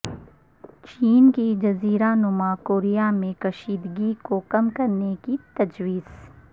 چین کی جزیرہ نما کوریا میں کشیدگی کو کم کرنے کی تجویز